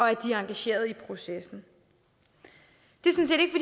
er engageret i processen det